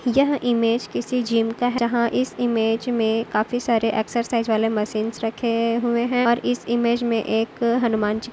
यह इमेज किसी जिम का हैं जहाँ इस इमेज में काफी सारे एक्सरसाइज वाले मशीन्स रखे हुए हैं और इस इमेज में एक हनुमानजी--